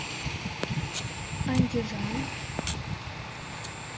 андижан